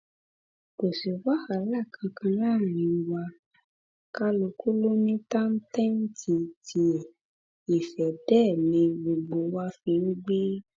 kò sí wàhálà kankan láàrin wa kálukú ló ní táńtẹǹtì tiẹ ìfẹ dé ni gbogbo wa fi ń gbé